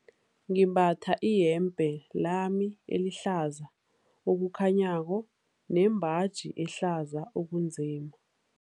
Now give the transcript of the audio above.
Ngimbatha iyembe lami elihlaza okukhanyako nembaji ehlaza okunzima.